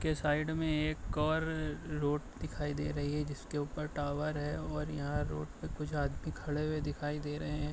के साइड में एक और रोड दिखाई दे रही है जिसके ऊपर टावर है और यहाँ रोड पे कुछ आदमी खड़े हुए दिखाई दे रहे हैं।